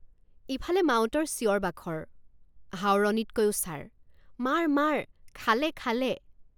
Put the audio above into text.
ইফালে মাউতৰ চিঞৰবাখৰ হাওৰণিতকৈও ছাৰ মাৰ মাৰ খালে খালে।